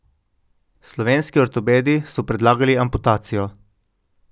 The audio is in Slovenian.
Slovenski ortopedi so predlagali amputacijo.